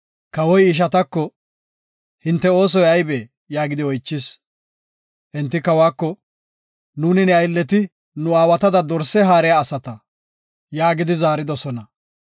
Kawoy he ishatako, “Hinte oosoy aybee?” yaagidi oychis. Enti kawako, “Nuuni ne aylleti nu aawatada dorse haariya asata” yaagidi zaaridosona.